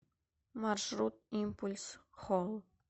маршрут импульс холл